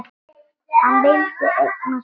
Hann vildi eignast börn.